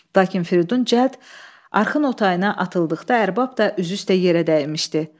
Lakin Fridun cəld arxın otayına atıldıqda ərbab da üzü üstə yerə dəymişdi.